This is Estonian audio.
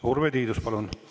Urve Tiidus, palun!